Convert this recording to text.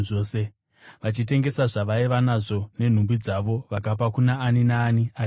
Vachitengesa zvavaiva nazvo nenhumbi dzavo, vakapa kuna ani naani aishayiwa.